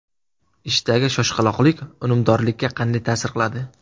Ishdagi shoshqaloqlik unumdorlikka qanday ta’sir qiladi?.